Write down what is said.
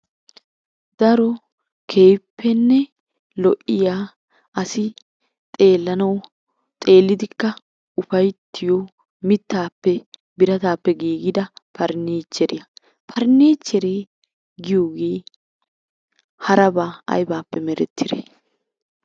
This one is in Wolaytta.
Daro keehippenne lo'iya asi xeellanawu xeellidikka ufayttiyo mittaappe birataappe giigida pariniichcheriya. Pariniichcheree giyogee harabaa aybaappe merettidee?